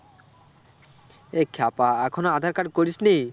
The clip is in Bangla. এই খ্যাপা এখনো আঁধার card করিসনি?